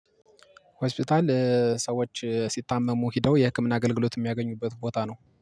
ሆስፒታል እ ሰዎች ሲታመሙ ሄደው የህክምና አገልግሎት የሚያገኙበት ቦታ ነው